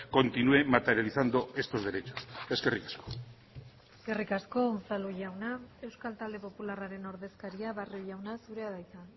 continúe materializando estos derechos eskerrik asko eskerrik asko unzalu jauna euskal talde popularraren ordezkaria barrio jauna zurea da hitza